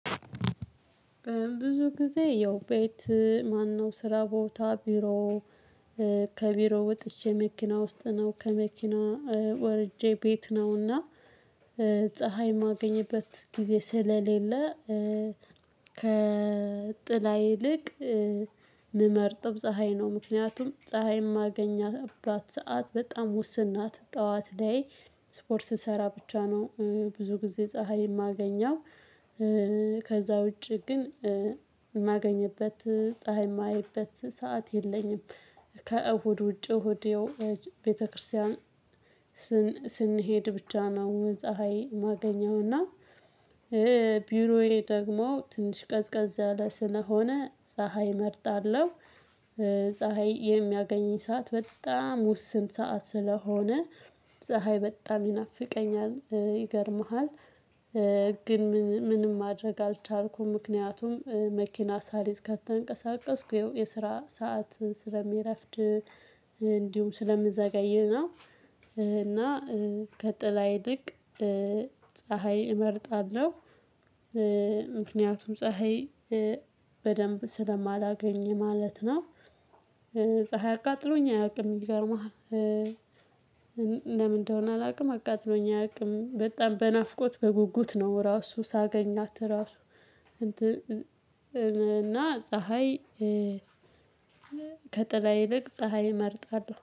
ብዙ ጊዜ ያው ቤት ማነው ስራ ቦታ ቢሮ ከቢሮ ወጥቼ መኪና ውስጥ ነው። ከመኪና ወርጄ ቤት ነውና ፀሀይ የማገኘበት ጊዜ ስለሌለ ከጥላ ይልቅ ምመርጥው ፀሀይ ነው። ምክንያቱም ፀሀይ የማገኛትባት ሰዓት በጣም ውስን ናት። ጠዋት ላይ ስፖርት ስሰራ ብቻ ነው ብዙ ጊዜ ፀሀይ የማገኘው። ከዛ ውጪ ግን የማገኝበት ፀሀይ የማይበት ሰዓት የለኝም። ከእሁድ ውጪ እሁድ ቤተክርስቲያን ስንሄድ ብቻ ነው ፀሀይ ማገኘው፤ እና ቢሮዬ ደግሞ ትንሽ ቀዝቀዝ ያለ ስለሆነ ፀሀይ እመርጣለሁ። ፀሀይ የሚያገኘኝ ሰዓት በጣም ውስን ሰዓት ስለሆነ ፀሀይ በጣም ይናፍቀኛል። ይገርምሃል ግን ምንም ማድረግ አልቻልኩም ምክንያቱም መኪና ሳልይዝ ከተንቀሳቀስኩ የስራ ሰዓት ስለሚረፍድ እንዲሁም ስለምዘገይ ነው፤ እና ከጥላ ይልቅ ፀሀይ እመርጣለሁ። ምክንያቱም ፀሀይ በደንብ ስለማላገኝ ማለት ነው። ፀሀይ አቃጥሎኝ አያውቅም ይገርምሃል ለምን እንደሆነ አላውቅም አቃጥሎኝ አያውቅም። በጣም በናፍቆት በጉጉት ነው ራሱ ሳገኛት ራሱ እንትን፤ እና ፀሀይ ከጥላ ይልቅ ፀሀይ እመርጣለሁ።